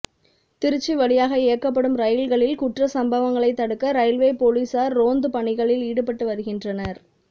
திருச்சி வழியாக இயக்கப்படும் ரயில்களில் குற்ற சம்பவங்களை தடுக்க ரயில்வே போலீஸாா் ரோந்து பணிகளில் ஈடுபட்டு வருகின்றனா்